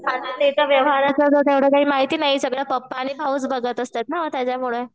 ते तर व्यवहाराचं तेवढं काही माहिती नाही सगळं पप्पा आणि भाऊच बघत असतात ना त्याच्यामुळे.